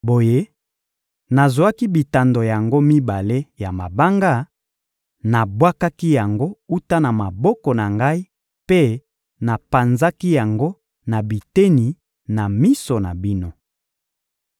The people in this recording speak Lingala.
Boye, nazwaki bitando yango mibale ya mabanga, nabwakaki yango wuta na maboko na ngai mpe napanzaki yango na biteni na miso na bino.